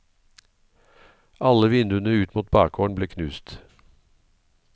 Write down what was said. Alle vinduene ut mot bakgården ble knust.